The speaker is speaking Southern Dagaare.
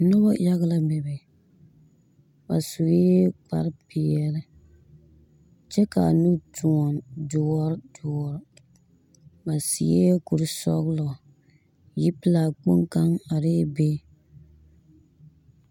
Noba yag la bebe. Ba sue kparepeɛle, kyɛ kaa nu toɔn doɔr doɔr. Ba seɛ kur-sɔglɔ, yipelaa kpoŋ kaŋ bebe.